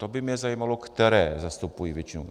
To by mě zajímalo, které zastupují většinu.